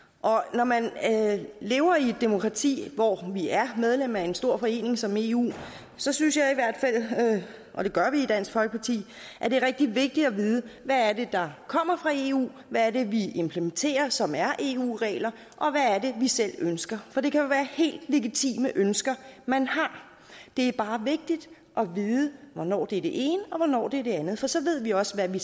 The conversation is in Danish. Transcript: når man lever i et demokrati hvor vi er medlem af en stor forening som eu så synes jeg i hvert fald og det gør vi i dansk folkeparti at det er rigtig vigtigt at vide hvad det er der kommer fra eu hvad det er vi implementerer som er eu regler og hvad vi selv ønsker for det kan jo være helt legitime ønsker man har det er bare vigtigt at vide hvornår det er det ene og hvornår det er det andet for så ved vi også hvad vi